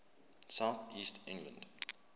south east england